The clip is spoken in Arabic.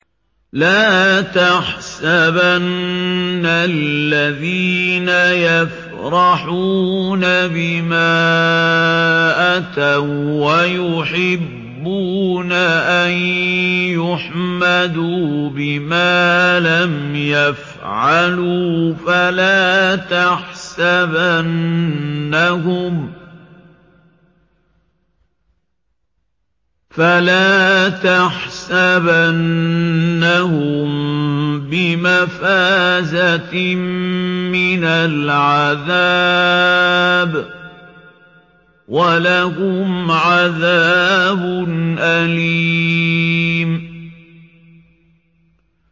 لَا تَحْسَبَنَّ الَّذِينَ يَفْرَحُونَ بِمَا أَتَوا وَّيُحِبُّونَ أَن يُحْمَدُوا بِمَا لَمْ يَفْعَلُوا فَلَا تَحْسَبَنَّهُم بِمَفَازَةٍ مِّنَ الْعَذَابِ ۖ وَلَهُمْ عَذَابٌ أَلِيمٌ